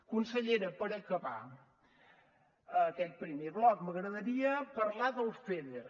consellera per acabar aquest primer bloc m’agradaria parlar del feder